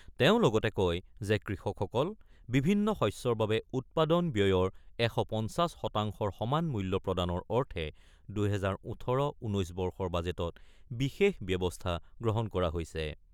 তেওঁ লগতে কয় যে, কৃষকসকলক বিভিন্ন শস্যৰ বাবে উৎপাদন ব্যয়ৰ ১৫০ শতাংশৰ সমান মূল্য প্ৰদানৰ অৰ্থে ২০১৮-১৯ বৰ্ষৰ বাজেটত বিশেষ ব্যৱস্থা গ্ৰহণ কৰা হৈছে।